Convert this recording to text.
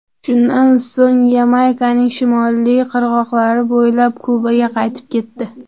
Shundan so‘ng Yamaykaning shimoliy qirg‘oqlari bo‘ylab Kubaga qaytib ketdi.